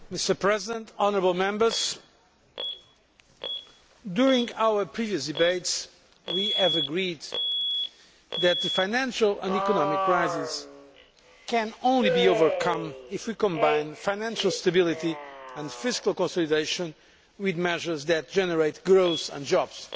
Mr President, honourable Members, during our previous debates we agreed that the financial and economic crisis can only be overcome if we combine financial stability and fiscal consolidation with measures that generate growth and jobs.